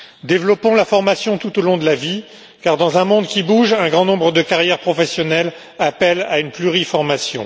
Développons la formation tout au long de la vie, car dans un monde qui bouge, un grand nombre de carrières professionnelles appellent à une pluriformation.